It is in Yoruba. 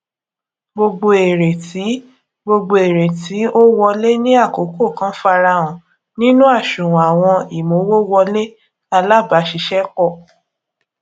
gbogbo èrè tí gbogbo èrè tí ó wọlé ní àkókò kan farahan nínú àṣùwòn àwọn ìmowòwọlé alábàáṣiṣépò